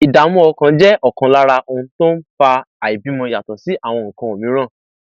ìdààmú ọkàn jẹ ọkan lára ohun tó ń fa àìbímọ yàtọ sí àwọn nǹkan mìíràn